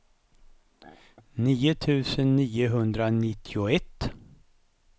nio tusen niohundranittioett